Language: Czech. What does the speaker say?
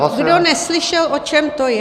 Ještě jednou, kdo neslyšel, o čem to je.